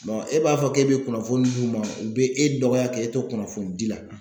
e b'a fɔ k'e be kunnafoni d'u ma u be e dɔgɔya k'e to kunnafoni di la.